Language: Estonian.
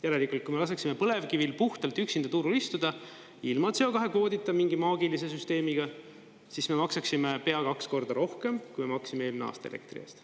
Järelikult, kui me laseksime põlevkivil puhtalt üksinda turul istuda ilma CO2 kvoodita, mingi maagilise süsteemiga, siis me maksaksime pea kaks korda rohkem, kui me maksime eelmine aasta elektri eest.